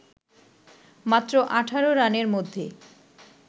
মাত্র ১৮ রানের মধ্যে